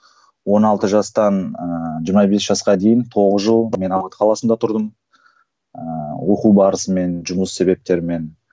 он алты жастан ыыы жиырма бес жасқа дейін тоғыз жыл қаласында тұрдым ыыы оқу барысымен жұмыс себептермен